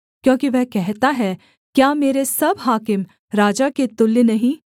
क्योंकि वह कहता है क्या मेरे सब हाकिम राजा के तुल्य नहीं